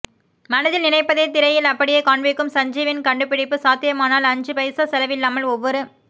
மனதில் நினைப்பதைத் திரையில் அப்படியே காண்பிக்கும் சஞ்சீவின் கண்டு பிடிப்பு சாத்தியமானால் அஞ்சு பைசா செலவில்லாமல் ஒவ்வொரு